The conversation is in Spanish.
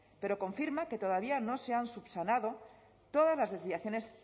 pero confirma que todavía no se han subsanado todas las desviaciones